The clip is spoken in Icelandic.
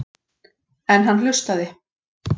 En hann hlustaði.